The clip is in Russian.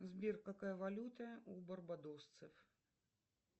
сбер какая валюта у барбадосцев